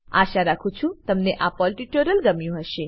આશા રાખું છું કે તમને આ પર્લ ટ્યુટોરીયલ ગમ્યું હશે